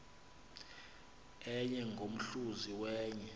enye ngomhluzi wenye